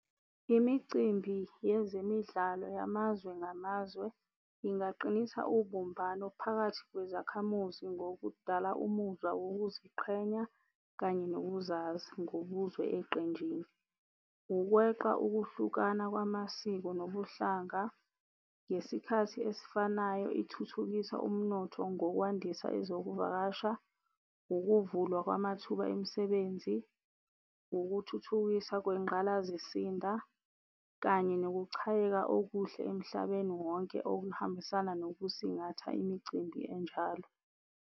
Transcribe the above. Imicimbi yezemidlalo yamazwe ngamazwe ingaqinisa ubumbano phakathi kwezakhamuzi ngokudala umuzwa wokuziqhenya kanye nokuzazi ngobuzwe eqenjini, ukweqa ukwehlukana kwamasiko nobuhlanga ngesikhathi esifanayo ithuthukisa umnotho ngokwandisa ezokuvakasha, ukuvulwa kwamathuba emisebenzi, ukuthuthukisa kwengqalazisinda, kanye nokuchayeka okuhle emhlabeni wonke okuhambisana nokusingatha imicimbi enjalo.